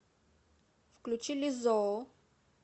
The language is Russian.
включи лиззо